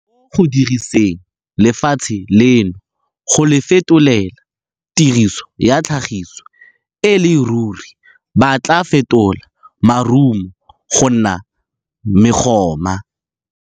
Mo go diriseng lefatshe leno, go le fetolela tiriso ya tlhagiso, e le ruri ba tla fetola marumo go nna megoma.